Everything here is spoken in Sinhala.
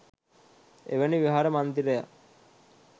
එවැනි විහාර මන්දිරයක්